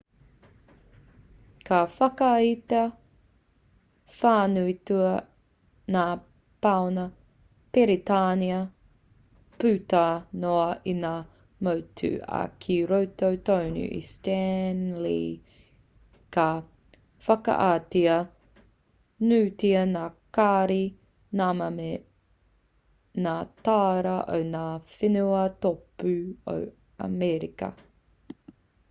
ka whakaaetia whānuitia ngā pauna peretānia puta noa i ngā motu ā ki roto tonu i stanley ka whakaaetia nuitia ngā kāri nama me ngā tāra o ngā whenua tōpū o amerika